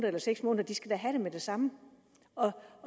eller seks måneder de skal da have det med det samme og